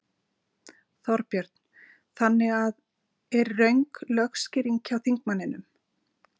Þorbjörn: Þannig að er röng lögskýring hjá þingmanninum?